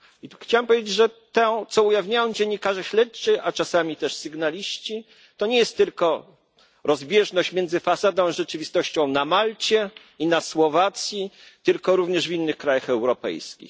I tu chciałem powiedzieć, że to, co ujawniają dziennikarze śledczy a czasami też sygnaliści to nie jest tylko rozbieżność między fasadą a rzeczywistością na Malcie i na Słowacji, tylko również w innych krajach europejskich.